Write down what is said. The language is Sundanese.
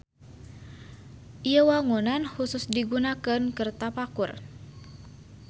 Ieu wangunan husus digunakeun keur tapakur.